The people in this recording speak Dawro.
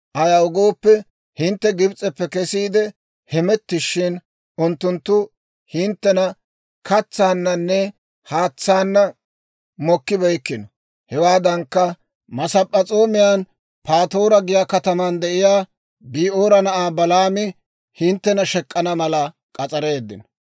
Ayaw gooppe, hintte Gibs'eppe kesiide hemettishin, unttunttu hinttena katsaannanne haatsaana mokkibeykkino. Hewaadankka, Masp'p'es'oomiyan Patoora giyaa kataman de'iyaa Bi'oora na'aa Balaami hinttena shek'k'ana mala k'as'areeddino.